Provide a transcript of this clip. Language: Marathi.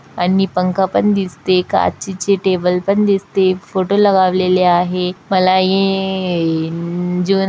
आणि पंखा पण दिसतेय काचेचे टेबल पण दिसतेय फोटो लगावलेले आहे मला ये--